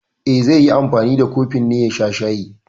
E, zai yi anfani da kofin ne ya sha shayi.